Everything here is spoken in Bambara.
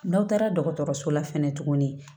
N'aw taara dɔgɔtɔrɔso la fɛnɛ tuguni